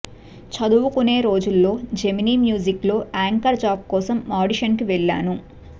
చదువుకునే రోజుల్లో Gemini music లో యాంకర్ జాబ్ కోసం ఆడిషన్ కి వెళ్ళాను